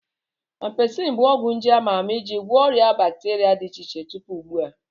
Ampisilin bụ ọgwụ nje ama ama ị ji gwọ ọrịa bakteria dị iche iche tupu ugbu a.